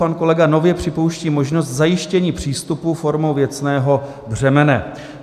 Pan kolega nově připouští možnost zajištění přístupu formou věcného břemene.